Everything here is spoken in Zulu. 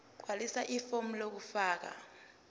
gqwalisa ifomu lokufaka